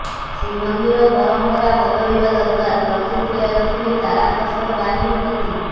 ଶ୍ରୀମନ୍ଦିର ପରମ୍ପରା ବଦଳିବା ଦରକାର ପ୍ରତିକ୍ରୀୟା ରଖିଲେ ତାରାପ୍ରସାଦ ବାହିନୀ ପତୀ